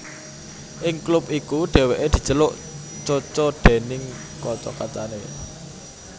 Ing klub iku Dèwèké diceluk Coco déning kanca kancané